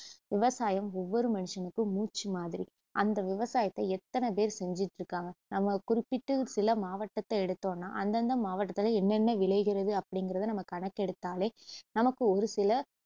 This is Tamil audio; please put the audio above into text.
விவசாயம் ஒவ்வொரு மனுஷனுக்கும் மூச்சுமாதிரி அந்த விவசாயத்த எத்தனை பேர் செஞ்சுட்டுருக்காங்க நம்ம குறிப்பிட்டு சில மாவட்டத்தை எடுத்தோன்னா அந்தந்த மாவட்டத்துல என்னென்ன விளைகிறது அப்படிங்குறத நம்ம கணக்கெடுத்தாலே நமக்கு ஒருசில